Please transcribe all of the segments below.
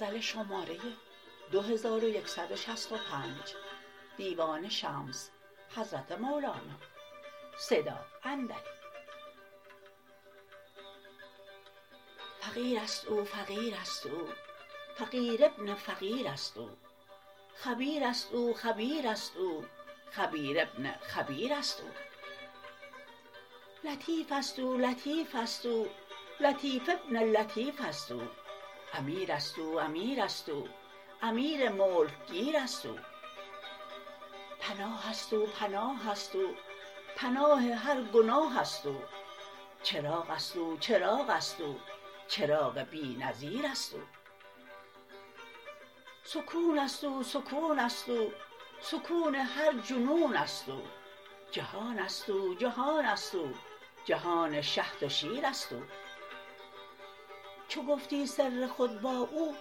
فقیر است او فقیر است او فقیر ابن الفقیر است او خبیر است او خبیر است او خبیر ابن الخبیر است او لطیف است او لطیف است او لطیف ابن اللطیف است او امیر است او امیر است او امیر ملک گیر است او پناه است او پناه است او پناه هر گناه است او چراغ است او چراغ است او چراغ بی نظیر است او سکون است او سکون است او سکون هر جنون است او جهان است او جهان است او جهان شهد و شیر است او چو گفتی سر خود با او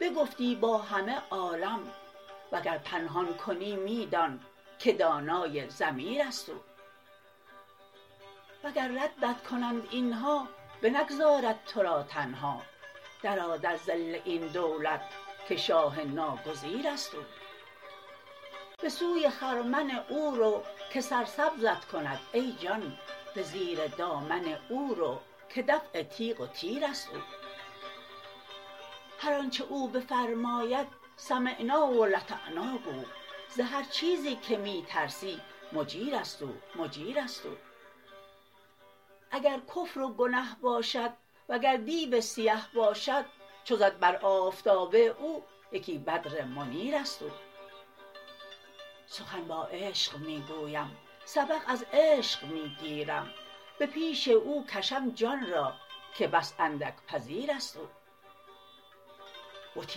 بگفتی با همه عالم وگر پنهان کنی می دان که دانای ضمیر است او وگر ردت کنند این ها بنگذارد تو را تنها درآ در ظل این دولت که شاه ناگریز است او به سوی خرمن او رو که سرسبزت کند ای جان به زیر دامن او رو که دفع تیغ و تیر است او هر آنچ او بفرماید سمعنا و اطعنا گو ز هر چیزی که می ترسی مجیر است او مجیر است او اگر کفر و گنه باشد وگر دیو سیه باشد چو زد بر آفتاب او یکی بدر منیر است او سخن با عشق می گویم سبق از عشق می گیرم به پیش او کشم جان را که بس اندک پذیر است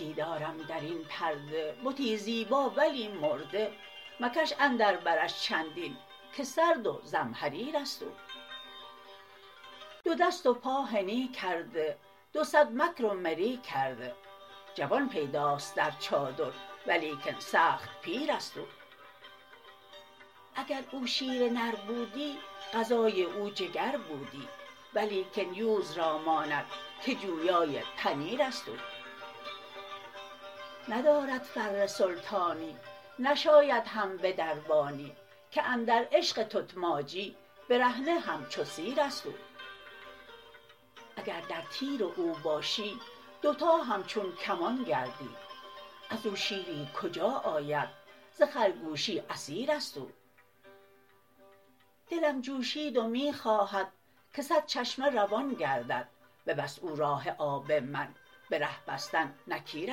او بتی دارد در این پرده بتی زیبا ولی مرده مکش اندر برش چندین که سرد و زمهریر است او دو دست و پا حنی کرده دو صد مکر و مری کرده جوان پیداست در چادر ولیکن سخت پیر است او اگر او شیر نر بودی غذای او جگر بودی ولیکن یوز را ماند که جویای پنیر است او ندارد فر سلطانی نشاید هم به دربانی که اندر عشق تتماجی برهنه همچو سیر است او اگر در تیر او باشی دوتا همچون کمان گردی از او شیری کجا آید ز خرگوشی اسیر است او دلم جوشید و می خواهد که صد چشمه روان گردد ببست او راه آب من به ره بستن نکیر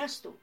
است او